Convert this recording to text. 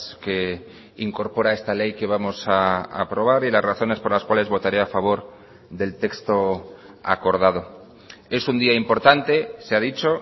que incorpora esta ley que vamos a aprobar y las razones por las cuales votaré a favor del texto acordado es un día importante se ha dicho